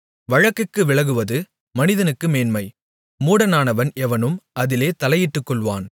வழக்குக்கு விலகுவது மனிதனுக்கு மேன்மை மூடனானவன் எவனும் அதிலே தலையிட்டுக்கொள்வான்